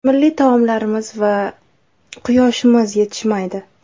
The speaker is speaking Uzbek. Milliy taomlarimiz va… quyoshimiz yetishmaydi.